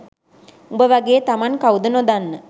උඹ වගේ තමන් කවුද නොදන්න